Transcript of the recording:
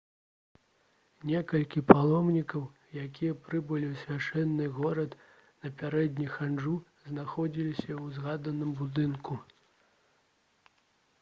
некалькі паломнікаў якія прыбылі ў свяшчэнны горад напярэдадні хаджу знаходзіліся ў згаданым будынку